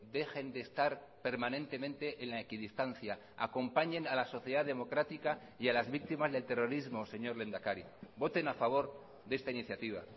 dejen de estar permanentemente en la equidistancia acompañen a la sociedad democrática y a las víctimas del terrorismo señor lehendakari voten a favor de esta iniciativa